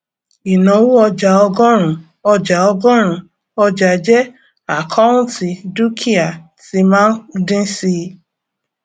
ìnáwó ọjàọgọrun ọjàọgọrun ọjàjẹ àkọùntì dúkìá tí máa ń dín síi